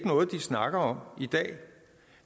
noget de snakker om i dag